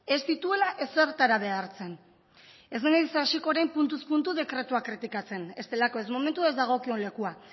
ez dituela ezertara behartzen ez naiz hasiko orain puntuz puntu dekretua kritikatzen ez delako ez momentua ez dagokion lekua